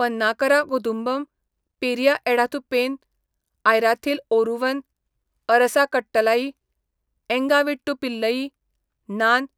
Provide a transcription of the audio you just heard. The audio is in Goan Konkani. पन्नाकरा कुदुंबम, पेरिया एडाथू पेन, आयराथिल ओरुवन, अरसा कट्टलाई, एंगा वीट्टू पिल्लई, नान,